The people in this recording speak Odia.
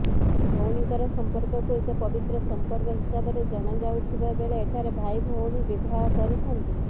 ଭାଇ ଭଉଣୀଙ୍କର ସମ୍ପର୍କକୁ ଏକ ପବିତ୍ର ସମ୍ପର୍କ ହିସାବରେ ଜଣାଯାଉଥିବାବେଳେ ଏଠାରେ ଭାଇ ଭଉଣୀ ବିବାହ କରିଥାନ୍ତି